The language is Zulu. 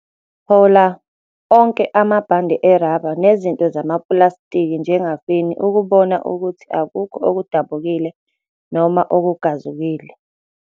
Hola onke amabhande erabha nezinto zamapulastiki njengafeni ukubona ukuthi akukho okudabukile noma okugazukile.